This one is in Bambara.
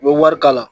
U bɛ wari kala